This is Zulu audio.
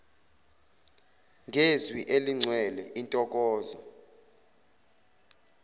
ngezwi eligcwele intokozo